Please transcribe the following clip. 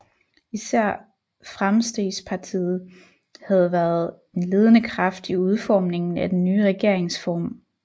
Især Framstegspartiet havde været en ledende kraft i udformningen af den nye regeringsform